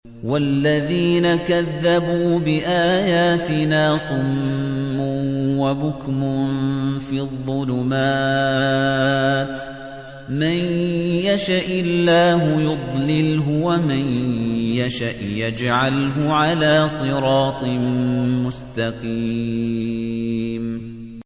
وَالَّذِينَ كَذَّبُوا بِآيَاتِنَا صُمٌّ وَبُكْمٌ فِي الظُّلُمَاتِ ۗ مَن يَشَإِ اللَّهُ يُضْلِلْهُ وَمَن يَشَأْ يَجْعَلْهُ عَلَىٰ صِرَاطٍ مُّسْتَقِيمٍ